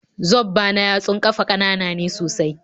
Zobba yatsun ƙafa ƙanana ne sosai